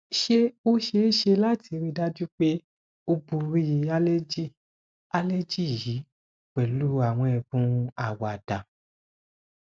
ṣé o ṣee ṣe lati rii daju pe o bori aleji aleji yi pẹlu àwọn ẹbùn àwàdá